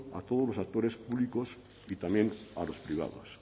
a todos los actores públicos y también a los privados